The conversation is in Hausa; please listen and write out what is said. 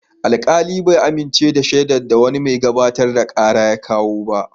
Wani alkali bai amince da shaidun da wani mai gabatar da kara ya kawo ba.